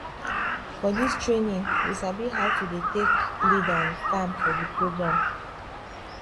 for dis trainingwe sabi how to dey talk lead and farm for di program